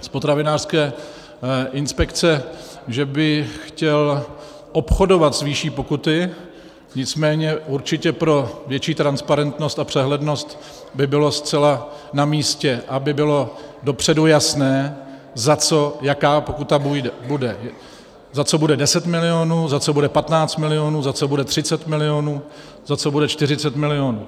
z potravinářské inspekce, že by chtěl obchodovat s výší pokuty, nicméně určitě pro větší transparentnost a přehlednost by bylo zcela namístě, aby bylo dopředu jasné, za co jaká pokuta bude, za co bude 10 milionů, za co bude 15 milionů, za co bude 30 milionů, za co bude 40 milionů.